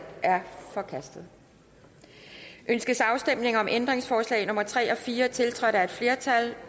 forkastet ønskes afstemning om ændringsforslag nummer tre og fire tiltrådt af et flertal